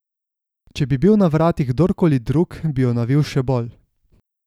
Če bi bil na vratih kdorkoli drug, bi jo navil še bolj.